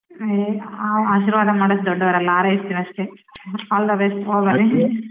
ಏ ನಾವ್ ಆಶೀರ್ವಾದ ಮಾಡೋ ಅಷ್ಟು ದೊಡ್ಡೊರಲ್ಲ ಆರೈಸ್ತಿವಿ ಅಷ್ಟೆ all the best ಹೋಬನ್ನಿ.